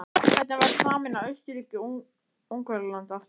Hvernig væri að sameina Austurríki-Ungverjaland aftur?